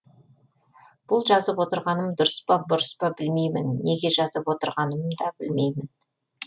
бұл жазып отырғаным дұрыс па бұрыс па білмеймін неге жазып отырғаным да білмеймін